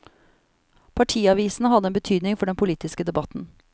Partiavisene hadde en betydning for den politiske debatten.